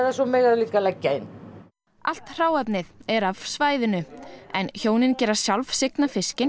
svo mega þau líka leggja inn allt hráefnið er af svæðinu en hjónin gera sjálf signa fiskinn